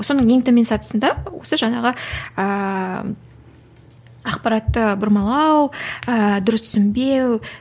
соның ең төмен сатысында осы жаңағы ыыы ақпаратты бұрмалау ыыы дұрыс түсінбеу